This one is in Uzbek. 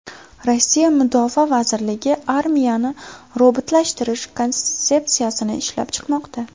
Rossiya mudofaa vazirligi armiyani robotlashtirish konsepsiyasini ishlab chiqmoqda.